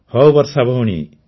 ହଉ ବର୍ଷା ଭଉଣୀ